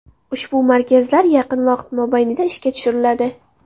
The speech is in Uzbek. Ushbu markazlar yaqin vaqt mobaynida ishga tushiriladi.